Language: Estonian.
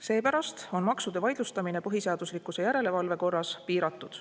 Seepärast on maksude vaidlustamine põhiseaduslikkuse järelevalve korras piiratud.